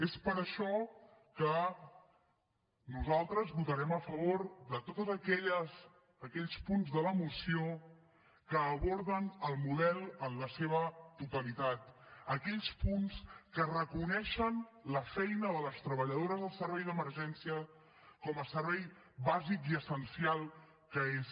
és per això que nosaltres votarem a favor de tots aquells punts de la moció que aborden el model en la seva totalitat aquells punts que reconeixen la feina de les treballadores del servei d’emergència com a servei bàsic i essencial que és